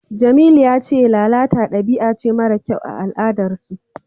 Jamilu ya ce lalata dabi'a ce mara kyau a al'adarsu.